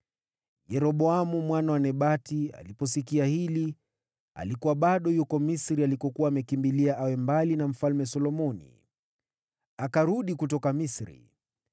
Yeroboamu mwana wa Nebati aliposikia hili (alikuwa bado yuko Misri alikokuwa amekimbilia awe mbali na Mfalme Solomoni), akarudi kutoka Misri.